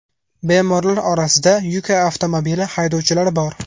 Bemorlar orasida yuk avtomobili haydovchilari bor.